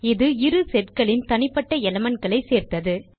இது இரு setகளின் தனிப்பட்ட elementகளை சேர்த்தது